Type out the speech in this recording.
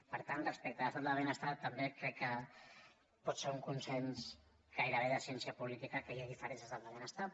per tant respecte a l’estat del benestar també crec que pot ser un consens gairebé de ciència política que hi hagi diferències en l’estat del benestar